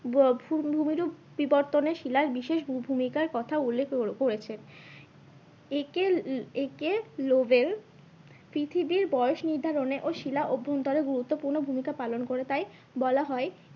ভূমিরূপ বিবর্তনে শিলার বিশেষ ভূমিকার কথা উল্লেখ করেছে। পৃথিবীর বয়স নির্ধারণে ও শিলা অভ্যন্তরে গুরুত্বপূর্ণ ভূমিকা পালন করে তাই বলা হয়